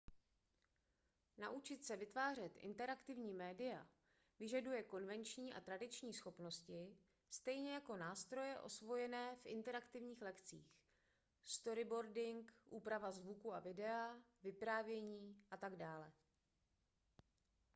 naučit se vytvářet interaktivní média vyžaduje konvenční a tradiční schopnosti stejně jako nástroje osvojené v interaktivních lekcích storyboarding úprava zvuku a videa vyprávění atd.